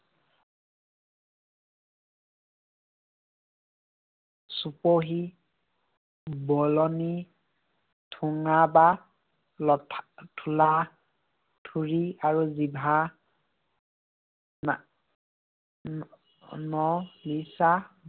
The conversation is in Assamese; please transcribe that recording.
চুপহী, বলনি, ঠোঙা বা থোলা, থুৰি আৰু জিভা